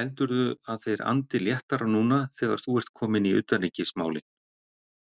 Heldurðu að þeir andi léttara núna þegar þú ert kominn í utanríkismálin?